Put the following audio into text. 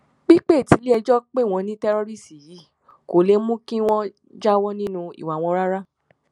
pípẹ tiléẹjọ pé wọn ní tẹrọrìṣí yìí kò lè mú kí wọn jáwọ nínú ìwà wọn rárá